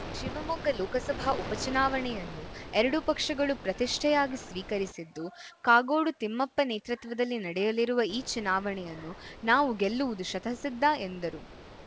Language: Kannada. ಶಿವಮೊಗ್ಗ ಲೋಕಸಭಾ ಉಪ ಚುನಾವಣೆಯನ್ನು ಎರಡೂ ಪಕ್ಷಗಳು ಪ್ರತಿಷ್ಟೆಯಾಗಿ ಸ್ವೀಕರಿಸಿದ್ದು ಕಾಗೋಡು ತಿಮ್ಮಪ್ಪ ನೇತೃತ್ವದಲ್ಲಿ ನಡೆಯಲಿರುವ ಈ ಚುನಾವಣೆಯನ್ನು ನಾವು ಗೆಲ್ಲುವುದು ಶತಃ ಸಿದ್ಧ ಎಂದರು